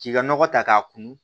K'i ka nɔgɔ ta k'a kun